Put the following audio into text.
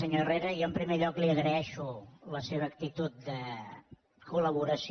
senyor herrera jo en primer lloc li agraeixo la seva actitud de col·laboració